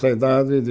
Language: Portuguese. Cidade de...